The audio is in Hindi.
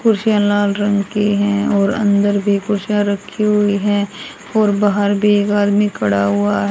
कुर्सियां लाल रंग की हैं और अंदर भी कुर्सियां रखी हुई हैं और बाहर भी एक आदमी खड़ा हुआ है।